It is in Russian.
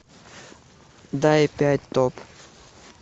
дай пять топ